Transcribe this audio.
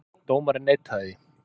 Dómarinn neitaði því.